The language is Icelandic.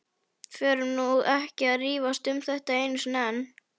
Förum nú ekki að rífast um þetta enn einu sinni.